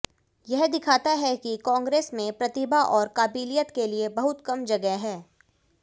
यह दिखाता है कि कांग्रेस में प्रतिभा और काबिलियत के लिए बहुत कम जगह है